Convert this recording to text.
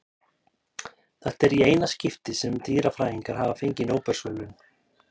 Þetta er í eina skiptið sem dýrafræðingar hafa fengið Nóbelsverðlaun.